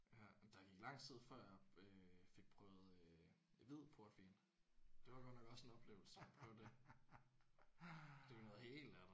Ja jamen der gik lang tid før jeg øh fik prøvet øh hvid portvin. Det var godt nok også en oplevelse at prøve det. Det er jo noget helt andet